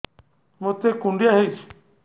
ମୋତେ କୁଣ୍ଡିଆ ହେଇଚି